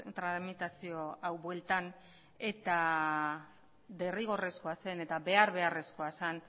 tramitazio hau bueltan eta derrigorrezkoa zen eta behar beharrezkoa zen